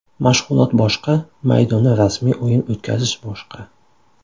Mashg‘ulot boshqa, maydonda rasmiy o‘yin o‘tkazish boshqa.